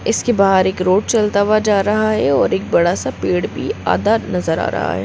इसके बाहर एक रोड चलता हुआ जा रहा है और एक बड़ा सा पेड़ भी है आधा नजर आ रहा है।